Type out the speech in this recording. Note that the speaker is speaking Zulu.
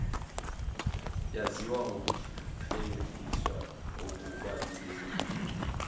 yaziwa ngokukleliswa kokubaluleka